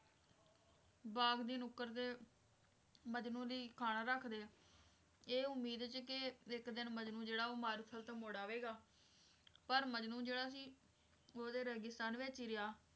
ਬਾਗ ਦੀ ਨੁੱਕਰ ਤੇ ਮਜਨੂੰ ਲਈ ਖਾਣਾ ਰੱਖਦੇ ਇਹ ਉਮੀਦ ਚ ਕੇ ਇੱਕ ਦਿਨ ਮਜਨੂੰ ਜਿਹੜਾ ਆ ਉਹ ਮਾਰੂਥਲ ਤੋਂ ਮੁੜ ਆਵੇਗਾ, ਪਰ ਮਜਨੂੰ ਜਿਹੜਾ ਸੀ ਉਹ ਤੇ ਰੇਗਿਸਤਾਨ ਵਿੱਚ ਹੀ ਰਿਹਾ।